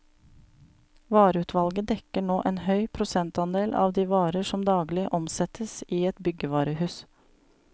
Vareutvalget dekker nå en høy prosentandel av de varer som daglig omsettes i et byggevarehus.